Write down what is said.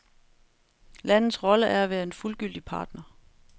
Landets rolle er at være en fuldgyldig partner.